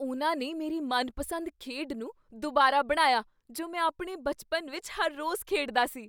ਉਹਨਾਂ ਨੇ ਮੇਰੀ ਮਨਪਸੰਦ ਖੇਡ ਨੂੰ ਦੁਬਾਰਾ ਬਣਾਇਆ ਜੋ ਮੈਂ ਆਪਣੇ ਬਚਪਨ ਵਿੱਚ ਹਰ ਰੋਜ਼ ਖੇਡਦਾ ਸੀ!